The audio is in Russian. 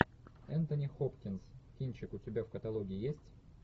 энтони хопкинс кинчик у тебя в каталоге есть